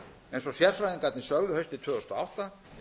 eins og sérfræðingarnir sögðu haustið tvö þúsund og átta